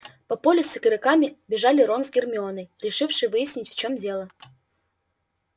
по полю к игрокам бежали рон с гермионой решившие выяснить в чем дело